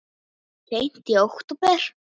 Seint í október